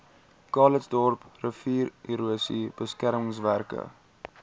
calitzdorp riviererosie beskermingswerke